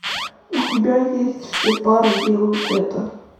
у тебя есть все пары делают это